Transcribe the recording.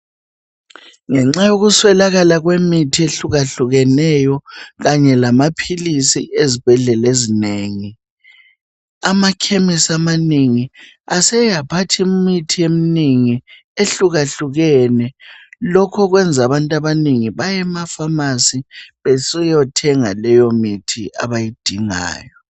Ngenxa yokuswelakala kwemithi ehlukehlukeneyo kanye lamaphilisi ezibhedlela ezinengi. Amakhemesi amanengi aseyaphatha imithi eminengi ehlukeneyo lokhu okwenza abantu abannegi baye emafamasi besiyathenga leyo mithi abayidingayo.